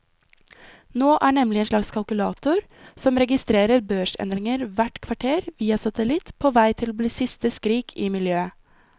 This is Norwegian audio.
Nå er nemlig en slags kalkulator som registrerer børsendringer hvert kvarter via satellitt på vei til å bli siste skrik i miljøet.